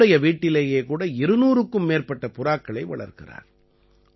தன்னுடைய வீட்டிலேயே கூட 200க்கும் மேற்பட்ட புறாக்களை வளர்க்கிறார்